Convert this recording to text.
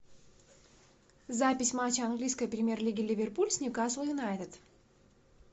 запись матча английской премьер лиги ливерпуль с ньюкасл юнайтед